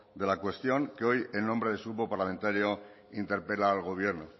de la cuestión que hoy en nombre de su grupo parlamentario interpela al gobierno